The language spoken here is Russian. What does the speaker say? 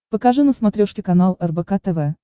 покажи на смотрешке канал рбк тв